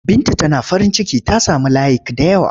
Binta Tana farinciki ta sami layik da yawa.